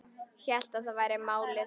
Hélt að það væri málið.